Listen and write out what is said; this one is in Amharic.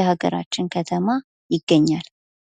የሃገራችን ከተማ ይገኛል?